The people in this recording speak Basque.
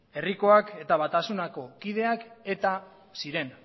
herrikoak eta batasunako kideak eta ziren